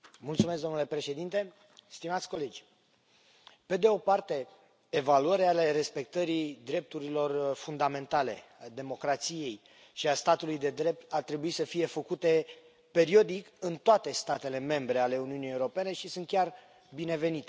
Domnule președinte, stimați colegi, pe de o parte, evaluări ale respectării drepturilor fundamentale, a democrației și a statului de drept ar trebui să fie făcute periodic în toate statele membre ale Uniunii Europene și sunt chiar binevenite.